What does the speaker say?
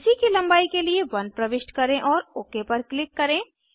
BC की लंबाई के लिए 1 प्रविष्ट करें और ओक पर क्लिक करें